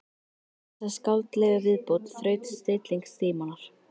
Við þessa skáldlegu viðbót þraut stilling Símonar.